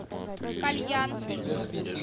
кальян